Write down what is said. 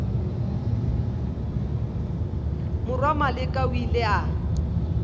morwa maleka o ile a